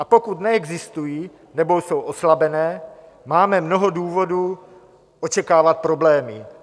A pokud neexistují nebo jsou oslabené, máme mnoho důvodů očekávat problémy.